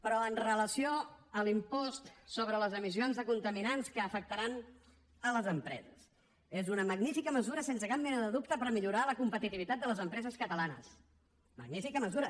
però amb relació a l’impost sobre les emissions de contaminants que afectaran les empreses és una magnífica mesura sense cap mena de dubte per millorar la competitivitat de les empreses catalanes magnífica mesura